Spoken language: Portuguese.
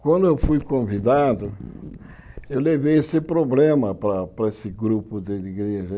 Quando eu fui convidado, eu levei esse problema para para esse grupo de igreja.